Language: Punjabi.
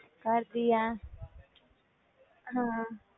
ਕਰਦੀ ਆ ਹਾਂ